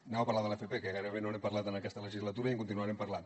anem a parlar de l’fp que gairebé no n’hem parlat en aquesta legislatura i en continuarem parlant